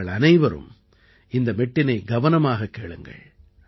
நீங்கள் அனைவரும் இந்த மெட்டினைக் கவனமாகக் கேளுங்கள்